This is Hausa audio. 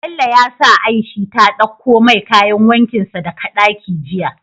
Bello ya sa aishi ta ɗakko mai kayan wankin sa daka ɗaki jiya